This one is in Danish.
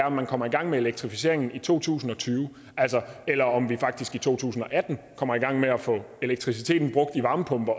om man kommer i gang med elektrificeringen i to tusind og tyve eller om vi faktisk i to tusind og atten kommer i gang med at få elektriciteten brugt i varmepumper